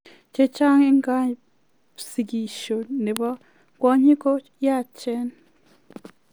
Chechang eng kapsigisyo nepo kwonyiik ko yaachen.